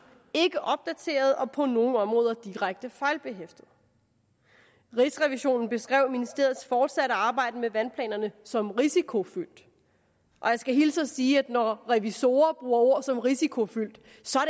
ikke opdateret og på nogle områder direkte fejlbehæftet rigsrevisionen beskrev ministeriets fortsatte arbejde med vandplanerne som risikofyldt og jeg skal hilse og sige at når revisorer bruger ord som risikofyldt